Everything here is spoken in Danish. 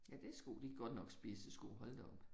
Ja, det sko. Det godt nok spidse sko. Hold da op!